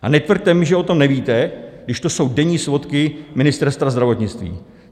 A netvrďte mi, že o tom nevíte, když to jsou denní svodky Ministerstva zdravotnictví.